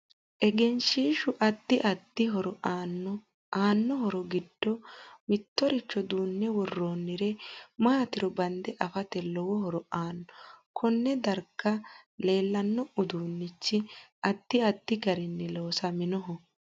Egeshiishu addi addi horo aanno aanno horo giddo mittoricho duunne woroonire maatiro bande afate lowo horo aanno konne darga leelanno uduunichi addi addi garinni loosaminoho